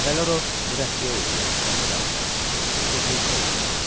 Əvvəllər o mürəbbiyə idi, yaxşı təhsil almışdı, özü də göyçək idi.